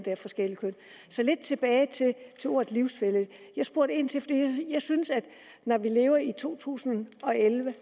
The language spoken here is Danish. af forskelligt køn så tilbage til ordet livsfælle jeg spurgte ind til det og jeg synes at når vi lever i to tusind og elleve